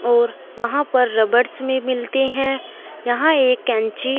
और वहां पर रबड़ भी मिलते हैं यहां एक कैंची--